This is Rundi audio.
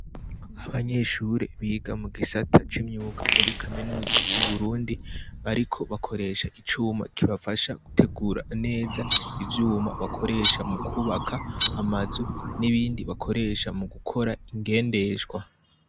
Abanyeshuri biga mu gisata c'imyuga muri kaminuza y'uburundi bariko bakoresha icuma kibafasha gutegura neza ivyuma bakoresha mu kwubaka amazu n'ibindi bakoresha mu gukora ingendeshwa.